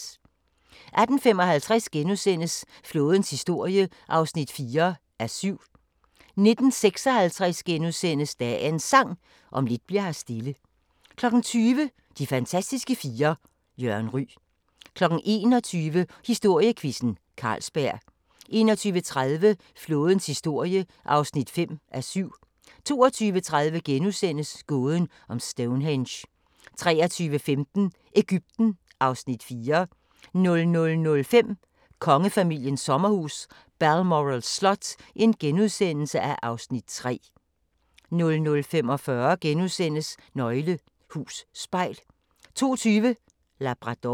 18:55: Flådens historie (4:7)* 19:56: Dagens Sang: Om lidt bli'r her stille * 20:00: De fantastiske fire: Jørgen Ryg 21:00: Historiequizzen: Carlsberg 21:30: Flådens historie (5:7) 22:30: Gåden om Stonehenge * 23:15: Egypten (Afs. 4) 00:05: Kongefamiliens sommerhus – Balmoral slot (Afs. 3)* 00:45: Nøgle Hus Spejl * 02:20: Labrador